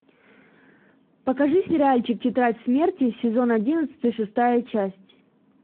покажи сериальчик тетрадь смерти сезон одиннадцатый шестая часть